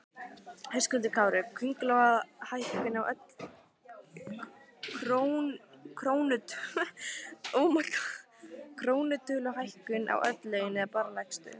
Höskuldur Kári: Krónutöluhækkun á öll laun eða bara lægstu?